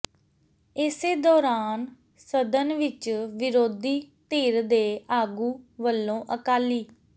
ਇਸੇ ਦੌਰਾਨ ਸਦਨ ਵਿੱਚ ਵਿਰੋਧੀ ਧਿਰ ਦੇ ਆਗੂ ਵੱਲੋਂ ਅਕਾਲੀ